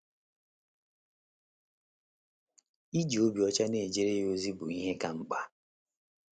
Iji obi ọcha na - ejere ya ozi bụ ihe ka mkpa. ”